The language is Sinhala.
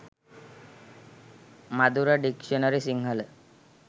madura dictionary sinhala